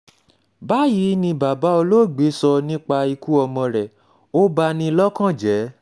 báyìí ni bàbá olóògbé sọ nípa ikú ọmọ rẹ̀ ó bá ní lọ́kàn jẹ́